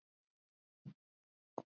Sindri: Aldrei áður veitt?